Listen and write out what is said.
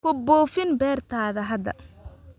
Ku buufin beertaada hadda